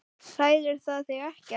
Hræðir það þig ekkert?